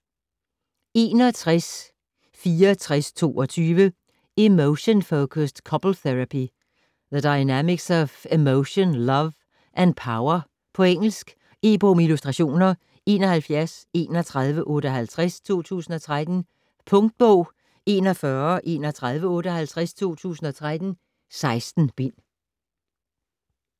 61.6422 Emotion-focused couples therapy: the dynamics of emotion, love, and power På engelsk. E-bog med illustrationer 713158 2013. Punktbog 413158 2013. 16 bind.